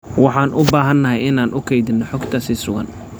Waxaan u baahanahay inaan u kaydino xogta si sugan.